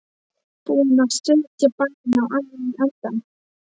Búin að setja bæinn á annan endann.